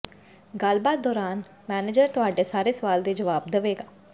ਗੱਲਬਾਤ ਦੌਰਾਨ ਮੈਨੇਜਰ ਤੁਹਾਡੇ ਸਾਰੇ ਸਵਾਲ ਦੇ ਜਵਾਬ ਦੇਵੇਗਾ